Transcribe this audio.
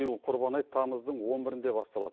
биыл құрбан айт тамыздың он бірінде басталады